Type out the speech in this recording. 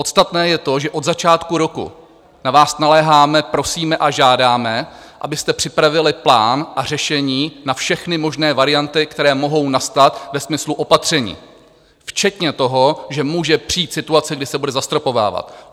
Podstatné je to, že od začátku roku na vás naléháme, prosíme a žádáme, abyste připravili plán a řešení na všechny možné varianty, které mohou nastat ve smyslu opatření, včetně toho, že může přijít situace, kdy se bude zastropovávat.